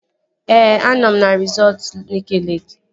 Ee, anọ m na resọtu Nike Leeki